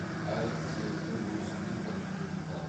әр қызметтің өзіндік бір қиындықтары